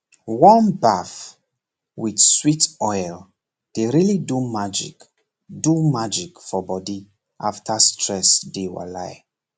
warm baff with sweet oil dey really do magic do magic for body after stress daywalai